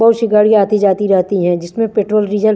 बहुतसी गाडी आती जाती रहती है जिसमें पेट्रोल डीजल --